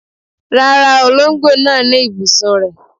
Rárá, olóńgbò náà ní ibùsùn rẹ̀.